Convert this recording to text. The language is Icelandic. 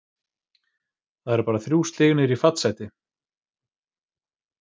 Það eru bara þrjú stig niður í fallsæti.